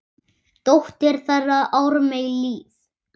Dóttir þeirra: Ármey Líf.